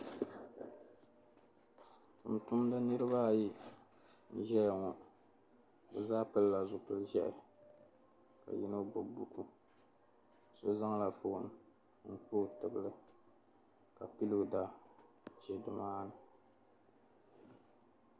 tuntumdiba niriba ayi n-zaya ŋɔ bɛ zaa pilila zupil' ʒɛhi ka yino gbubi buku so zaŋla foon n-kpa o tibili ka pilooda za ni maani